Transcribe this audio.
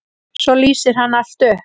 Svo lýsir hann allt upp.